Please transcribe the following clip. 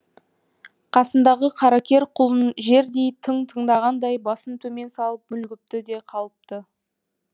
қасындағы қаракер құлын жердей тың тыңдағандай басын төмен салып мүлгіпті де қалыпты